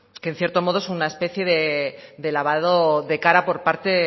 que en cierto modo es una especie de lavado de cara por parte